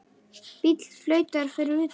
Bíll flautar fyrir utan.